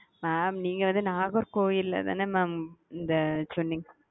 mam நீங்க வந்து நாகர்கோயில்ல தான mam இந்த சொன்னீங்க.